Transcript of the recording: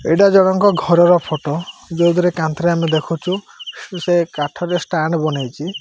ଏଇଟା ଜଣଙ୍କ ଘରର ଫଟ ଯୋଉଥିରେ କାନ୍ଥ ରେ ଆମେ ଦେଖୁଛୁ ସେ କାଠ ରେ ଷ୍ଟାଣ୍ଡ ବନେଇଛି।